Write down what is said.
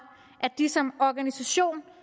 at de som organisation